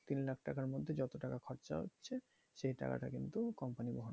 তিন লাখ টাকার মধ্যে যত টাকা খরচা হচ্ছে সেই টাকা টা কিন্তু company বহন করবে।